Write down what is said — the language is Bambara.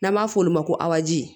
N'an b'a f'olu ma ko aji